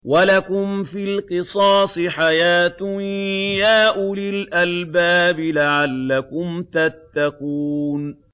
وَلَكُمْ فِي الْقِصَاصِ حَيَاةٌ يَا أُولِي الْأَلْبَابِ لَعَلَّكُمْ تَتَّقُونَ